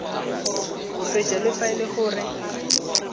moseja fa e le gore